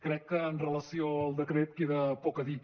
crec que amb relació al decret queda poc a dir